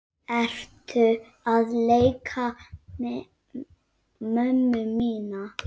Ertu að leika mömmu mína?